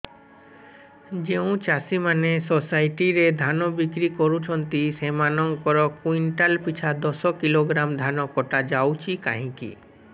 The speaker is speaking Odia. ଯେଉଁ ଚାଷୀ ମାନେ ସୋସାଇଟି ରେ ଧାନ ବିକ୍ରି କରୁଛନ୍ତି ସେମାନଙ୍କର କୁଇଣ୍ଟାଲ ପିଛା ଦଶ କିଲୋଗ୍ରାମ ଧାନ କଟା ଯାଉଛି କାହିଁକି